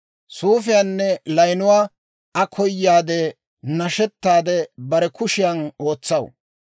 Suufiyaanne layinuwaa Aa koyaadde, nashetaade bare kushiyan ootsaw.